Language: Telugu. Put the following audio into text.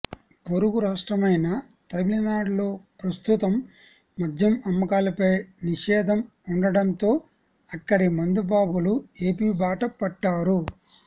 పొరుగు రాష్ట్రమైన తమిళనాడులో ప్రస్తుతం మద్యం అమ్మకాలపై నిషేధం ఉండటంతో అక్కడి మందు బాబులు ఏపి బాట పట్టారు